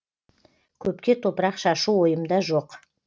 көпке топырақ шашу ойымда жоқ